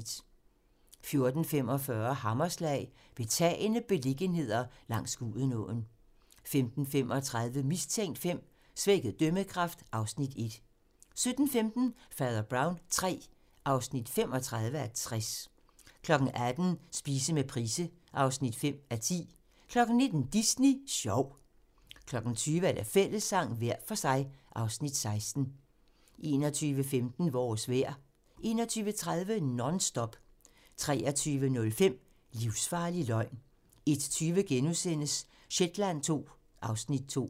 14:45: Hammerslag - Betagende beliggenheder langs Gudenåen 15:35: Mistænkt V: Svækket dømmekraft (Afs. 1) 17:15: Fader Brown III (35:60) 18:00: Spise med Price (5:10) 19:00: Disney sjov 20:00: Fællessang - hver for sig (Afs. 16) 21:15: Vores vejr 21:30: Non-Stop 23:05: Livsfarlig løgn 01:20: Shetland II (Afs. 2)*